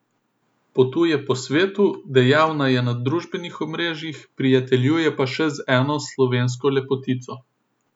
Potuje po svetu, dejavna je na družbenih omrežjih, prijateljuje pa še z eno slovensko lepotico.